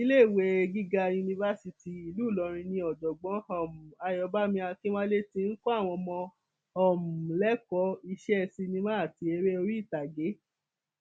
iléèwé gíga yunifásitì ìlú ìlọrin ni ọjọgbọn um ayóbàmì akínwálé ti ń kọ àwọn ọmọ um lẹkọọ iṣẹ cinema àti eré oríìtage